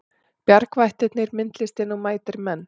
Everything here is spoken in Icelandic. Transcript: Bjargvættirnir myndlistin og mætir menn